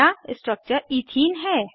नया structure ethene है